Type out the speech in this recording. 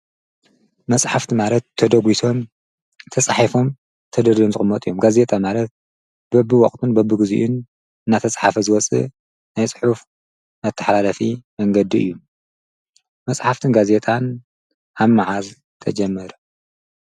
መፅሓፍቲ ማለት ተደጒሶም ፣ተፃሒፎም ተዳሊዩ ዝቅመጥ እዩ። ጋዜጣ ማለት በቢወቅቱን በቢግዚኡን እናተፃሕፈ ዝወፅእ ናይ ፅሑፍ መተሓላለፊ መንገዲ እዩ። መፅሓፍትን ጋዜጣን ኣብ መዓዝ ተጀሚሩ?